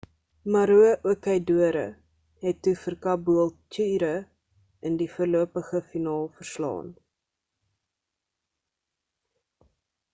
maroochydore het toe vir caboolture in die voorlopige finaal verslaan